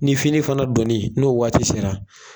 Ni fini fana dɔɔnin n'o waati sera